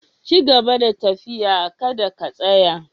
Cigaba da tafiya, ka da ka tsaya!